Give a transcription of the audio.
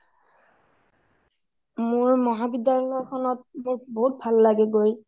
মোৰ মহাবিদ্যালয়খনত বহুত ভাল লাগে গৈ